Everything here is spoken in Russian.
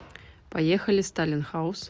поехали сталин хаус